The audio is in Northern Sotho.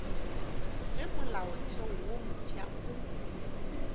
ge molaotheo wo mofsa o